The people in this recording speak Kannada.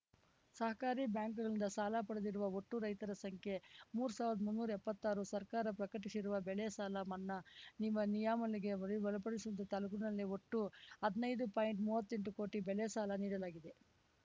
ಸಹಕಾರಿ ಬ್ಯಾಂಕ್‌ಗಳಿಂದ ಸಾಲ ಪಡೆದಿರುವ ಒಟ್ಟು ರೈತರ ಸಂಖ್ಯೆ ಮೂರು ಸಾವಿರದ ಮುನ್ನೂರಾ ಎಪ್ಪತ್ತಾರು ಸರ್ಕಾರ ಪ್ರಕಟಿಸಿರುವ ಬೆಳೆ ಸಾಲ ಮನ್ನಾ ನಿಮ ನಿಯಮಾವಳಿಗೆ ಒಳ ಒಳಪಡುವಂತ ತಾಲೂಕಿನ ಒಟ್ಟು ಹದ್ನೈದು ಪಾಯಿಂಟ್ಮುವ್ವತ್ತೆಂಟು ಕೋಟಿ ಬೆಳೆ ಸಾಲ ನೀಡಲಾಗಿದೆ